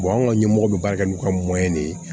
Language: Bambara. anw ka ɲɛmɔgɔ bɛ baara kɛ n'u ka de